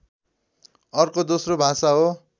अर्को दोस्रो भाषा हो